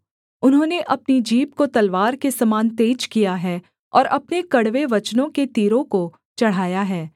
उन्होंने अपनी जीभ को तलवार के समान तेज किया है और अपने कड़वे वचनों के तीरों को चढ़ाया है